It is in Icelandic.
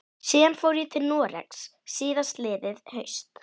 Síðan fór ég til Noregs síðastliðið haust.